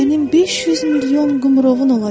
Sənin 500 milyon qımrovun olacaq.